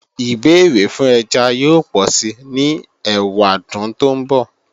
Ìbéèrè fún ẹja yóò pọ̀si ní ẹwàdún tó ńbọ̀